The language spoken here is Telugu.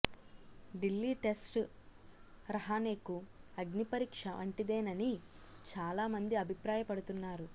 ఢిల్లీ టెస్టు రహానెకు అగ్ని పరీక్ష వంటిదేనని చాలా మంది అభిప్రాయపడుతున్నారు